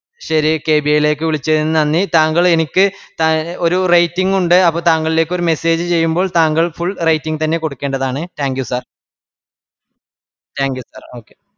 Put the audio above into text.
ശേരി K B A ലെക് വിളിച്ചതിന്‌ നന്ദി താങ്കൾ എനിക്ക് ഒരു rating ഉണ്ട് താങ്കളിലേക് ഒരു message ചെയ്യുമ്പോൾ താങ്കൾ full rating തന്നെ കൊടുക്കേണ്ടതാണ്‌ thank you sir thank you sir okay